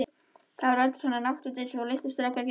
Þau voru röndótt, svona náttföt einsog litlir strákar gengu í.